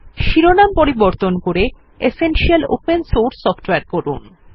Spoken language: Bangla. শিরোনাম পরিবর্তন করে এসেনশিয়াল ওপেন সোর্স সফটওয়ারে করুন